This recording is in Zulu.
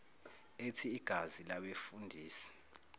ethi igazi labefundisi